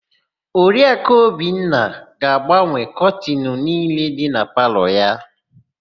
Oriaku Obinna ga-agbanwe kọtịnụ niile nọ na palọ ha.